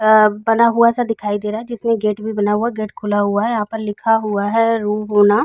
बना हुआ सा दिखाई दे रहा है। जिसमें गेट भी बना हुआ है। गेट खुला हैयहाँ पर लिखा हुआ है रू होना।